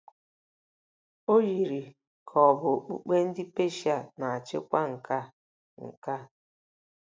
O yiri ka ọ̀ bụ okpukpe ndị Peshia na-achịkwa nke a. nke a. ”